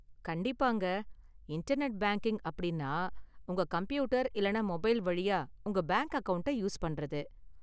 கண்டிப்பாங்க, internet banking அப்படின்னா உங்க கம்ப்யூட்டர் இல்லனா மொபைல் வழியா உங்க பேங்க் அக்கவுண்டை யூஸ் பண்றது.